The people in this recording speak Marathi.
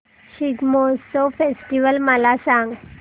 शिग्मोत्सव फेस्टिवल मला सांग